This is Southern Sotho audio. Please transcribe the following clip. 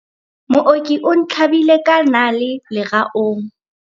mooki o ntlhabile ka nale leraong